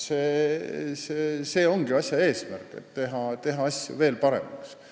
See ongi asja eesmärk – teha asju veel paremaks.